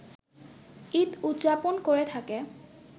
ঈদ উদযাপন করে থাকে